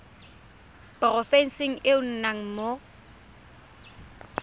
porofenseng e o nnang mo